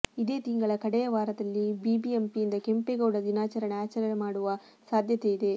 ಇದೇ ತಿಂಗಳ ಕಡೆಯ ವಾರದಲ್ಲಿ ಬಿಬಿಎಂಪಿಯಿಂದ ಕೆಂಪಗೌಡ ದಿನಾಚರಣೆ ಆಚರಣೆ ಮಾಡುವ ಸಾಧ್ಯತೆ ಇದೆ